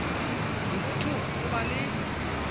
le bothong o ba le